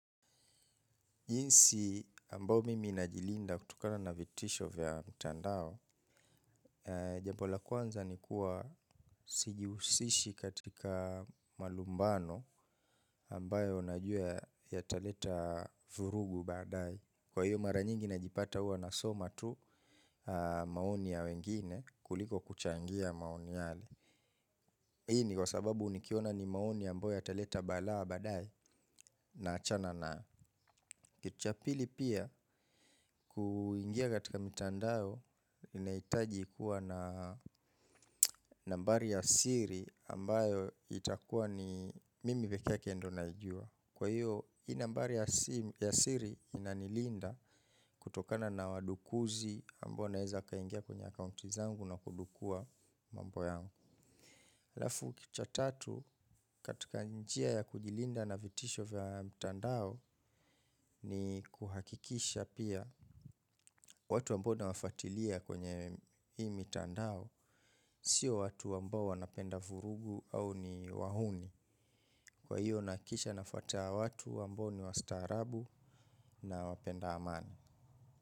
Jinsi ambao mimi najilinda kutokana na vitisho vya mtandao, jambo la kwanza ni kuwa sijihusishi katika malumbano ambayo najua yataleta vurugu baadaye. Kwa hiyo mara nyingi najipata huwa nasoma tu maoni ya wengine kuliko kuchangia maoni yale. Hii ni kwa sababu nikiona ni maoni ambayo yataleta balaa baadaye na achana nayo. Kitu cha pili pia, kuingia katika mitandao inahitaji kuwa na nambari ya siri ambayo itakuwa ni mimi pekee yake ndio naijua. Kwa hiyo, hii nambari ya siri inanilinda kutokana na wadukuzi ambao naeza kaingia kwenye akaunti zangu na kudukua mambo yangu. Alafu kitu cha tatu katika njia ya kujilinda na vitisho vya mtandao ni kuhakikisha pia watu ambao nawafatilia kwenye hii mitandao sio watu ambao wanapenda vurugu au ni wahuni. Kwa hiyo nahakikisha nafuata watu ambao ni wa staarabu na wapenda amani.